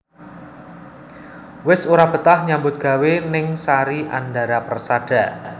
Wis ora betah nyambut gawe ning Sari Andara Persada